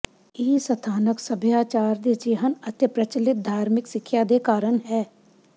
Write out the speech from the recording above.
ਇਹ ਸਥਾਨਕ ਸੱਭਿਆਚਾਰ ਦੇ ਿਜਹਨ ਅਤੇ ਪ੍ਰਚਲਿਤ ਧਾਰਮਿਕ ਸਿੱਖਿਆ ਦੇ ਕਾਰਨ ਹੈ